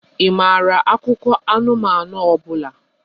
Ị maara akụkọ anụmanụ ọ bụla?